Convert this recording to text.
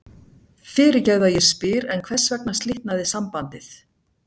Fyrirgefðu að ég spyr en hvers vegna slitnaði sambandið?